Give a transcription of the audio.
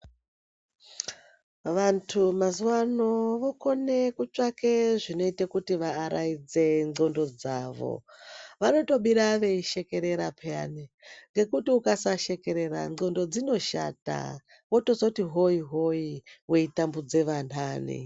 Vantu mazuvano vokone kutsvage zvinoita kuti vavaraidze ndxondo dzavo vanotobira veishekerera peyani ngekuti ukasasekerera ndxondo dzinoshata wozototi hoyi hoyi weitambudza vanhare.